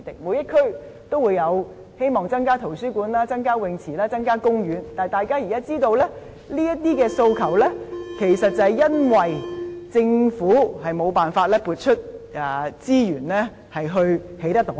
每區的市民均希望增設圖書館、游泳池和公園，但大家現在也知道，這些訴求其實是因為政府無法撥出資源來興建有關項目。